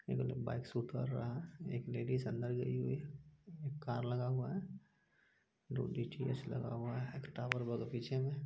एगो लोग बाइक से उतर रहा है एक लेडिज अंदर गई हुई है एक कार लगा हुवा है दो डी _टी _एच लगा हुवा हैं। टॉवर बग पीछे मे--